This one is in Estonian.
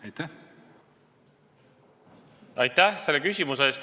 Aitäh selle küsimuse eest!